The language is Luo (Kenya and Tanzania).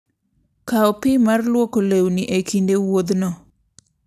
Kaw pi mar lwoko lewni e kinde wuodhno.